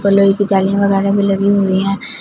Colour की जाली मंगाने में लगी हुई हैं।